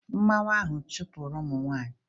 Mmwua ahụ chụpụrụ ụmụ nwanyị?